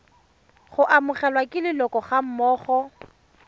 go amogelwa ke leloko gammogo